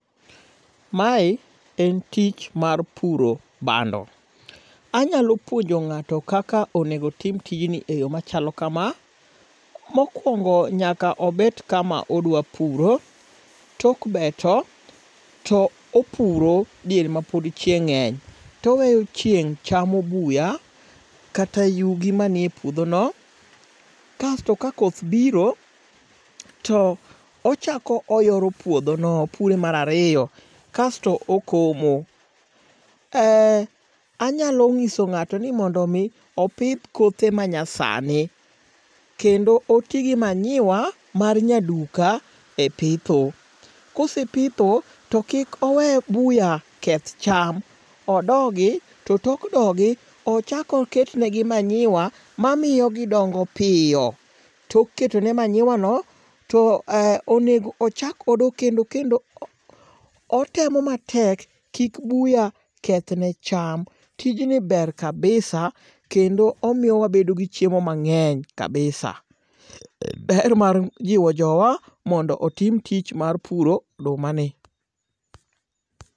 Mae en tich mar puro bando. Anyalo puonjo ng'ato kaka onego otim tijni e yo machalo kama. Mokwongo nyaka obet kama odwa puro. Tok beto, to opuro diere ma pod ching' ng'eny toweyo chieng' chamo buya kata yugi manie puodho no. Kaesto ka koth biro, to ochako oyoro puodho no, opure mar ariyo. Kaesto okomo. Anyalo ng'iso ng'ato ni mondo mi opidh kothe ma nyasani. Kendo oti gi manyiwa mar nyaduka e pitho. Kose pitho to kik owe buya keth cham. Odo gi. To tok dogi, ochak oket ne gi manyiwa mamiyo gidongo piyo. Tok ketone manyiwa no, to onego ochak odo kendo kendo otemo matek kik buya kethne cham. Tijni ber kabisa kendo omiyowa wabedo gi chiemo mang'eny kabisa. En hero mar jiwo jowa mondo otim tich mar puro oduma ni.